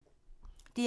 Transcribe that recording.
DR1